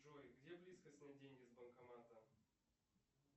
джой где близко снять деньги с банкомата